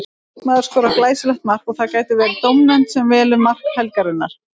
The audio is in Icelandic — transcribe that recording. Leikmaður skorar glæsilegt mark og það gæti verið dómnefnd sem velur mark helgarinnar.